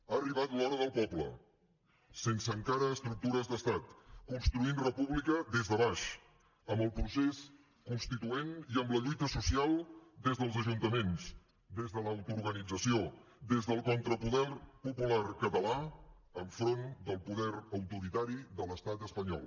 ha arribat l’hora del poble sense encara estructures d’estat construint república des de baix amb el procés constituent i amb la lluita social des dels ajuntaments des de l’autoorganització des del contrapoder popular català enfront del poder autoritari de l’estat espanyol